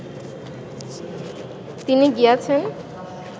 তিনি গিয়াছেন